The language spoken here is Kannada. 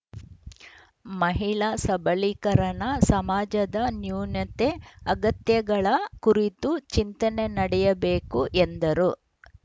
ಮಹಿಳಾ ಸಬಲೀಕರಣ ಸಮಾಜದ ನ್ಯೂನತೆ ಅಗತ್ಯಗಳ ಕುರಿತು ಚಿಂತನೆ ನಡೆಯಬೇಕು ಎಂದರು